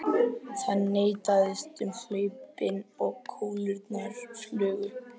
Það neistaði um hlaupin og kúlurnar flugu.